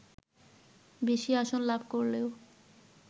বেশি আসন লাভ করলেও